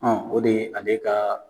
o de ye ale ka